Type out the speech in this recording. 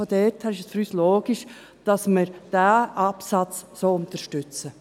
Daher ist es für uns logisch, dass wir diesen Absatz so unterstützen.